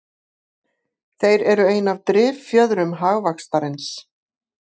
Þeir eru ein af driffjöðrum hagvaxtarins